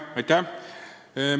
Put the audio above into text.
Aitäh!